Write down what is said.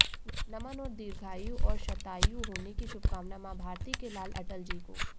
नमन और दीर्घायु और शतायु होने की शुभकामना माँ भारती के लाल अटलजी को